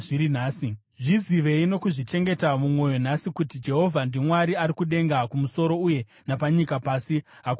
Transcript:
Zvizivei nokuzvichengeta mumwoyo nhasi kuti Jehovha ndiMwari ari kudenga kumusoro uye napanyika pasi. Hakunazve mumwe.